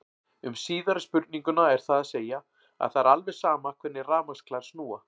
Um síðari spurninguna er það að segja að það er alveg sama hvernig rafmagnsklær snúa.